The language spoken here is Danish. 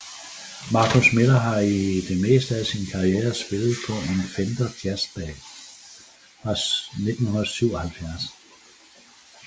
Marcus Miller har i det meste af sin karriere spillet på en Fender Jazz Bass fra 1977